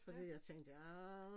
Fordi jeg tænkte arh